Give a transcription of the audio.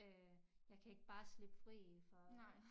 Øh jeg kan ikke bare slippe fri for